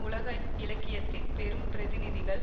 உலக இலக்கியத்தின் பெரும் பிரதிநிதிகள்